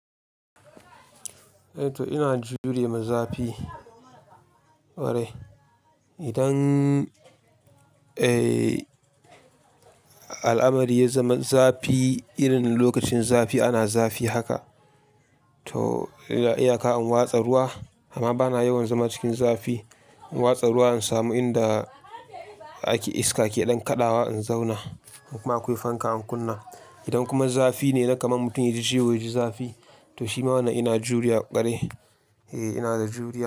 Eh to ina jurewa zafii ƙwarai. Idan, al'amari ya zama zafi irin lokacin zafi ana zafi haka. To iyaka in watsa ruwa amma bana yawan zama cikin zafi. In watsa ruwa in samu inda ake iska ke ɗan kaɗawa in zauna. In kuma akwai fanka in kunna. Idan kuma zafi ne, na kaman mutum yaji ciwo yaji zafi. To shi ma wane ina juriya kwarai Eh ina da juriya.